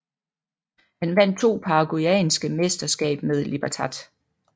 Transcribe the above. Han vandt to paraguayanske mesterskab med Libertad